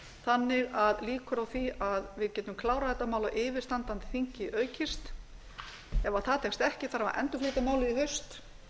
þannig að líkur á því að vi getum klárað þetta mál á yfirstandandi þingi hefur aukist ef það tekst ekki þarf að endurflytja málið í haust